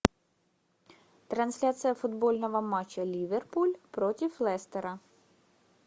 трансляция футбольного матча ливерпуль против лестера